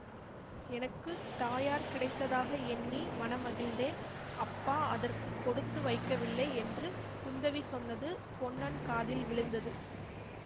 எனக்கு தாயார் கிடைத்ததாக எண்ணி மனமகிழ்ந்தேன் அப்பா அதற்கு கொடுத்து வைக்கவில்லை என்று குந்தவி சொன்னது பொன்னன் காதில் விழுந்தது